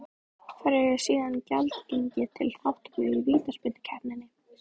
Hverjir eru síðan gjaldgengir til þátttöku í vítaspyrnukeppninni?